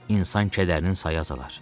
İnsan kədərinin sayı azalar.